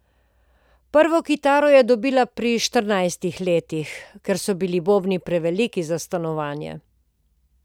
Prvo kitaro je dobila pri štirinajstih letih, ker so bili bobni preveliki za stanovanje.